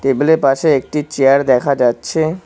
টেবিলের -এর পাশে একটি চেয়ার দেখা যাচ্ছে।